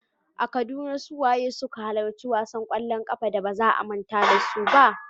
A Kaduna, su waye suka halarci wasan kwallon kafa da ba za a manta da su ba?